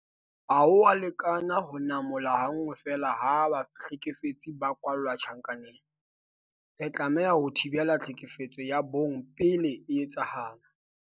Ha ho a lekana ho namola ha nngwe feela ha bahlekefetsi ba kwalla tjhankaneng. Re tlameha ho thibela tlhekefetso ya bong pele e etsahala.